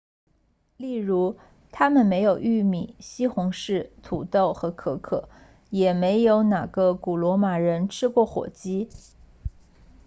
例如他们没有玉米西红柿土豆和可可也没有哪个古罗马人吃过火鸡